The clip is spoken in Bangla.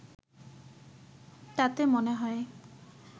তাতে মনে হয়